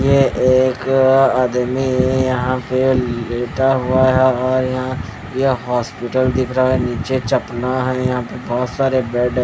ये एक आदमी यहां पे लेटा हुआ है यह हॉस्पिटल दिख रहा है नीचे चपना है यहां पे बहुत सारे बेड --